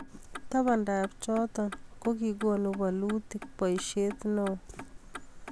tabandab choto, kokikonu bolutik boisiet neoo